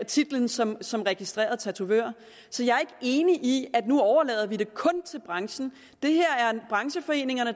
titlen som som registreret tatovør så jeg er ikke enig i at vi nu overlader det kun til branchen det er brancheforeningerne